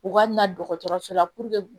U ka na dɔgɔtɔrɔso la